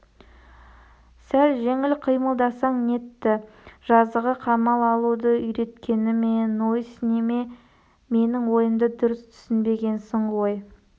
сәл жеңіл қимылдасаң нетті жазығы қамал алуды үйреткені ме нойыс неме менің ойымды дұрыс түсінбегенсің ғой